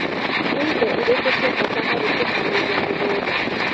Nĩ indo irĩkũ cia bata harĩ kũharĩria mũgũnda.